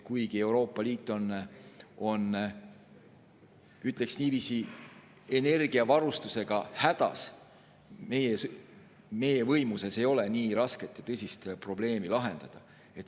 Kuigi Euroopa Liit on, ütleks niiviisi, energiavarustusega hädas, ei ole meie võimuses nii rasket ja tõsist probleemi lahendada.